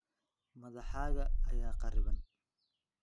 Madaxaaga ayaa kharriban.